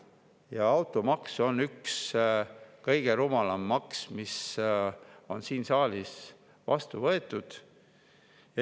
Ja automaks on üks kõige rumalam maks, mis on siin saalis vastu võetud.